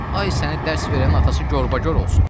Ay səni dərs verənin atası gorbagor olsun.